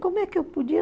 Como é que eu podia?